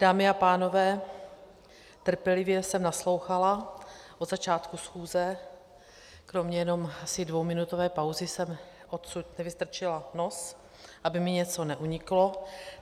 Dámy a pánové, trpělivě jsem naslouchala od začátku schůze, kromě jenom asi dvouminutové pauzy jsem odsud nevystrčila nos, aby mi něco neuniklo.